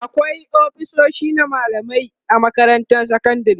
akwai ofisoshi na mallamai a makarantar sekandari